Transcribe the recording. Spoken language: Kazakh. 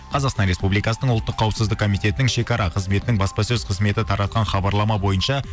қазақстан республикасының ұлттық қауіпсіздік комитетінің шекара қызметінің баспасөз қызметі таратқан хабарлама бойынша